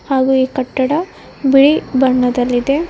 ಹಾಗೂ ಈ ಕಟ್ಟಡ ಬಿಳಿ ಬಣ್ಣದಲ್ಲಿದೆ.